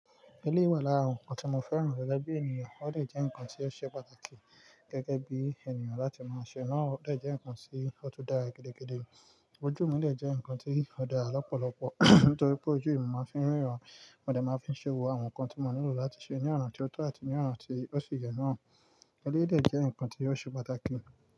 Eleyii wa lára ohun tí mo fẹ́ràn gege bi ènìyàn, o de jẹ́ ǹkan tí o ṣe pàtàkì gẹ́gẹ́ bí ènìyàn láti máa ṣe, náà o le jẹ́ ǹkan tí o tó dára gidi gidi. Ojú mi le jẹ́ ǹkan tí ó dára lọ́pọ̀lọpọ̀, nítorí pé ojú yi mo máa ń fi ríran, mo dè máa fi ṣe wo àwọn nǹkan tí mo nílò láti ṣe ní ọnà tí ó tọ́ àti ní ọnà tí ó sí yẹ náà. Eleyii dẹ́ jẹ́ ǹkan tí yóò ṣe pàtàkì.